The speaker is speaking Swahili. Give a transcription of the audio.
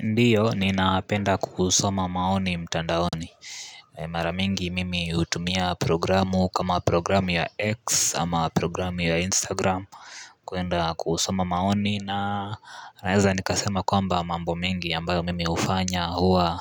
Ndiyo, ninapenda kusoma maoni mtandaoni Maramingi mimi hutumia programu kama programu ya X ama programu ya Instagram kuenda kusoma maoni na naweza nikasema kwamba mambo mingi ambayo mimi hufanya huwa